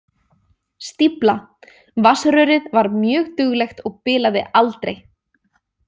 Stífla Vatnsrörið var mjög duglegt og bilaði aldrei.